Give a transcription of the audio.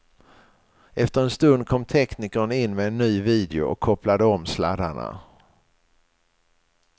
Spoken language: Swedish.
Efter en stund kom teknikern in med en ny video och kopplade om sladdarna.